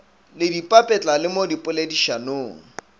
le dipapetla le mo dipoledišanong